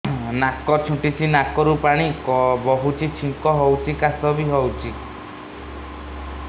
ନାକ ଚୁଣ୍ଟୁଚି ନାକରୁ ପାଣି ବହୁଛି ଛିଙ୍କ ହଉଚି ଖାସ ବି ହଉଚି